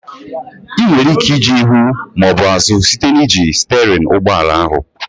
Ị nwere ike ije ihu maọbụ azụ site n'iji sterịn ụgbọala ahụ